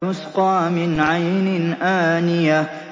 تُسْقَىٰ مِنْ عَيْنٍ آنِيَةٍ